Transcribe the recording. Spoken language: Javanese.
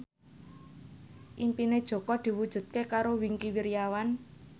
impine Jaka diwujudke karo Wingky Wiryawan